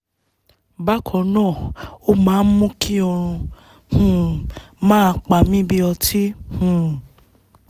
bákan náà ó máa ń mú kí oorun um máa pa mí bí ọtí um